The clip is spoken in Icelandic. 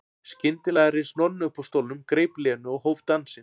Skyndilega reis Nonni upp úr stólnum, greip Lenu og hóf dansinn.